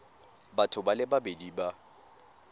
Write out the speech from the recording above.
batho ba le babedi ba